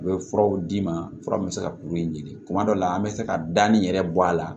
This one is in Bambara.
U bɛ furaw d'i ma fura min bɛ se ka kuru in ɲini kuma dɔ la an bɛ se ka danni yɛrɛ bɔ a la